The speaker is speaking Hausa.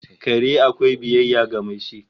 Kare akwai biyayya ga mai shi